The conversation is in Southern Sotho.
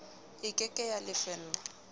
e ke ke ya lefellwa